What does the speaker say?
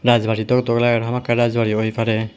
rajbari dok dok lager hamakkai rajbari oi pare.